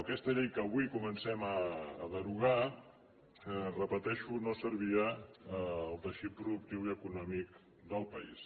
aquesta llei que avui comencem a derogar ho repeteixo no servia al teixit productiu i econòmic del país